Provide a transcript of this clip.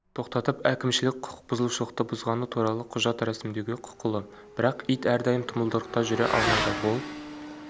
тоқтатып әкімшілік құқықбұзушылықты бұзғаны туралы құжат рәсімдеуге құқылы бірақ ит әрдайым тұмылдырықта жүре алмайды ол